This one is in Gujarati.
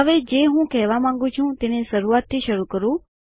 હવે જે હું કહેવા માંગુ છું તેને શરૂઆતથી શરૂ કરું